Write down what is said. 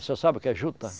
Você sabe o que é juta?